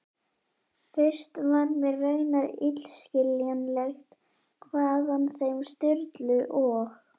Fyrst var mér raunar illskiljanlegt hvaðan þeim Sturlu og